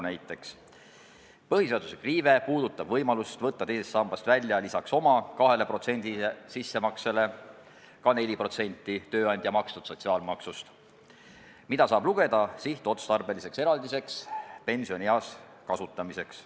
Näiteks on põhiseaduse riive võimalus võtta teisest sambast välja lisaks oma 2% sissemaksele ka 4% tööandja makstud sotsiaalmaksust, mida saab lugeda sihtotstarbeliseks eraldiseks pensionieas kasutamiseks.